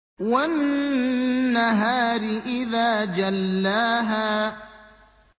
وَالنَّهَارِ إِذَا جَلَّاهَا